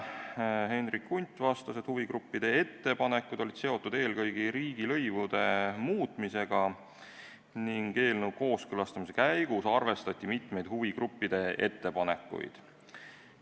Hendrik Hundt vastas, et huvigruppide ettepanekud olid seotud eelkõige riigilõivude muutmisega ning eelnõu kooskõlastamise käigus arvestati mitmeid huvigruppide ettepanekuid.